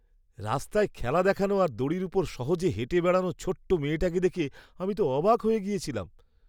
রাস্তায় খেলা দেখানো আর দড়ির ওপর সহজে হেঁটে বেড়ানো ছোট্ট মেয়েটাকে দেখে আমি তো অবাক হয়ে গেছিলাম!